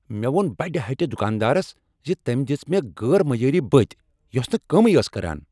مےٚ ووٚن بڈِ ہٹہ دکاندارس ز تٔمۍ دژ مےٚ غیر معیٲری بٔتۍ یۄس نہٕ کٲمٕے ٲس کران۔